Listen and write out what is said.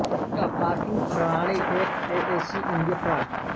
यह पार्किंग प्रणाली F A A C India प्रा